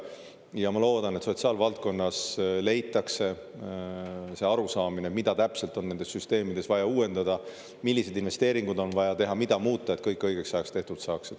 Ja ma loodan, et sotsiaalvaldkonnas leitakse see arusaamine, mida täpselt on nendes süsteemides vaja uuendada, milliseid investeeringuid on vaja teha, mida muuta, et kõik õigeks ajaks tehtud saaks.